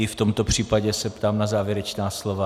I v tomto případě se ptám na závěrečná slova.